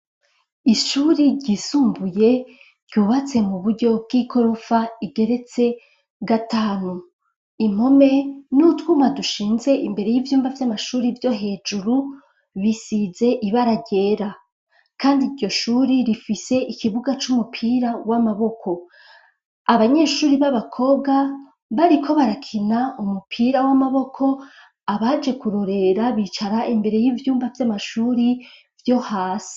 Ishure ryisumbuye ryubatse mu buryo bw'ikorofa igeretse gatanu, impome n'utwuma dushinze imbere y'ivyuma vy'amashuri vyo hejuru bisize ibaragera kandi iryo shuri rifise ikibuga c'umupira w'amaboko, abanyeshure b'abakobwa bariko barakina umupira w'amaboko abaje kurorera bicara imbere y'ibyumba vy'amashure byo hasi.